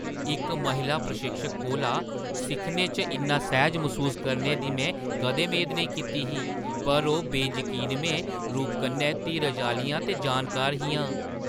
इक महिला प्रशिक्षक कोला सिक्खने च इन्ना सैह्‌ज मसूस करने दी में कदें मेद नेईं कीती ही, पर ओह् बेजकीनमें रूप कन्नै धीरजै आह्‌लियां ते जानकार हियां।